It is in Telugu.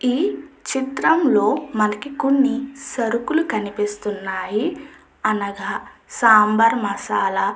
ఈ చిత్రం లో మనకి కొన్ని సరుకుల్లు కనిపిస్తున్నాయి. అనగా సాంబార్ మసాలా --